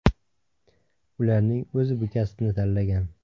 Ularning o‘zi bu kasbni tanlagan.